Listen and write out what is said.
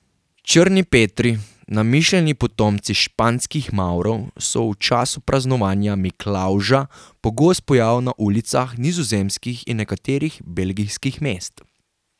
Črni Petri, namišljeni potomci španskih Mavrov, so v času praznovanja Miklavža pogost pojav na ulicah nizozemskih in nekaterih belgijskih mest.